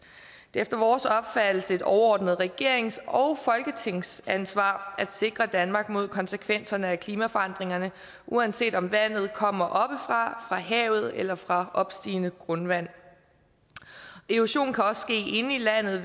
det er efter vores opfattelse et overordnet regerings og folketingsansvar at sikre danmark mod konsekvenserne af klimaforandringerne uanset om vandet kommer oppefra havet eller fra opstigende grundvand erosion kan også ske inde i landet